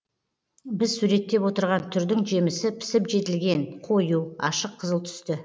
біз суреттеп отырған түрдің жемісі пісіп жетілген қою ашық қызыл түсті